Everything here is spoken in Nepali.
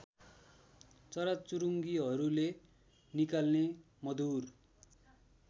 चराचुरुङ्गीहरूले निकाल्ने मधुर